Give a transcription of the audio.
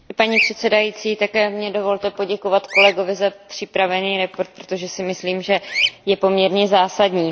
Paní předsedající, také mně dovolte poděkovat kolegovi za připravenou zprávu, protože si myslím, že je poměrně zásadní.